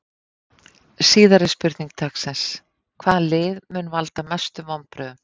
Síðari spurning dagsins: Hvaða lið mun valda mestum vonbrigðum?